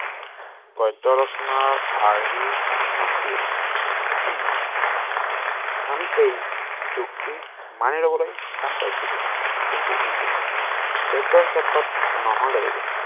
গদ্যৰচনাৰ আৰ্হিত নাছিল আমি এই যুক্তি মানি লবলৈ টান পাইছিলো কিন্তু কিন্তু গদ্যৰ ক্ষেত্ৰত নহলেও